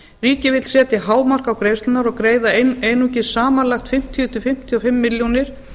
ríkið vill setja hámark á greiðslurnar og greiða einungis samanlagt fimmtíu til fimmtíu og fimm milljónir